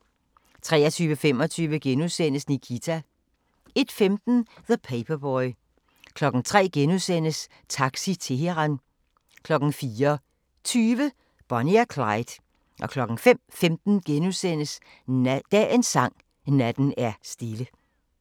23:25: Nikita * 01:15: The Paperboy 03:00: Taxi Teheran * 04:20: Bonnie og Clyde 05:15: Dagens Sang: Natten er stille *